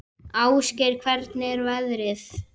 Ásgeir, hvernig er veðrið?